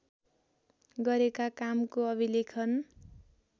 गरेका कामको अभिलेखन